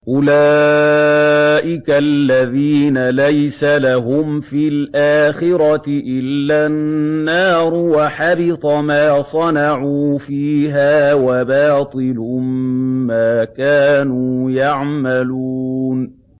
أُولَٰئِكَ الَّذِينَ لَيْسَ لَهُمْ فِي الْآخِرَةِ إِلَّا النَّارُ ۖ وَحَبِطَ مَا صَنَعُوا فِيهَا وَبَاطِلٌ مَّا كَانُوا يَعْمَلُونَ